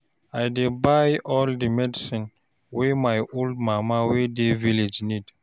I dey buy all di medicine wey my old mama wey dey village need.